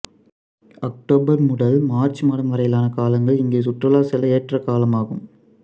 October முதல் March மாதம் வரையிலான காலங்கள் இங்கு சுற்றுலா செல்ல ஏற்றகாலமாகும்